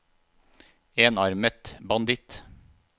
enarmet banditt